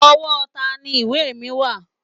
Ọwọ́ tani ìwé mi wà?